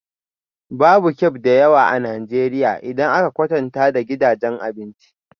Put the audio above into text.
Babu cafe da yawa a Najeriya idan aka kwatanta da gidajen abinci